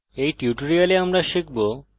in tutorial আমরা শিখব